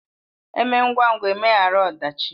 Eme ngwa ngwa emeghara ọdachi